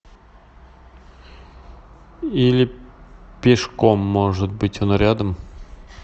или пешком может быть он рядом